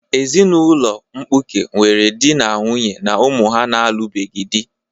Ezinụlọ mkpuke nwere di na nwunye na ụmụ ha na-alụbeghị di.